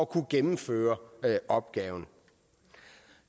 kan gennemføre opgaven